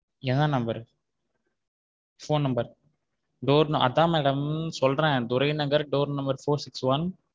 என்ன number phone number door அதான் madam சொல்ற்றேன் துறை நகர் door number four six one.